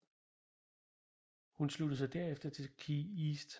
Hun sluttede sig derefter til KeyEast